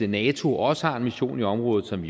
nato også har en mission i området som